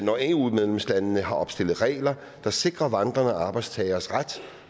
når eu medlemslandene har opstillet regler der sikrer vandrende arbejdstagernes ret